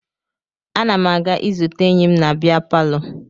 Ana m aga izute enyi m na bịa palọ